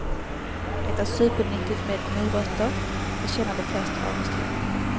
Det är supernyttigt med morötter, det känner de flesta av oss till.